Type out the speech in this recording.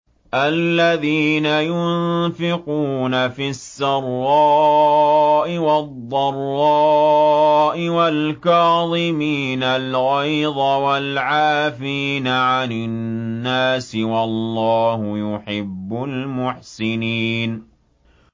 الَّذِينَ يُنفِقُونَ فِي السَّرَّاءِ وَالضَّرَّاءِ وَالْكَاظِمِينَ الْغَيْظَ وَالْعَافِينَ عَنِ النَّاسِ ۗ وَاللَّهُ يُحِبُّ الْمُحْسِنِينَ